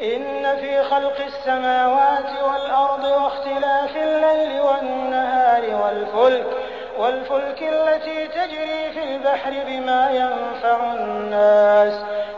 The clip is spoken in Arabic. إِنَّ فِي خَلْقِ السَّمَاوَاتِ وَالْأَرْضِ وَاخْتِلَافِ اللَّيْلِ وَالنَّهَارِ وَالْفُلْكِ الَّتِي تَجْرِي فِي الْبَحْرِ بِمَا يَنفَعُ النَّاسَ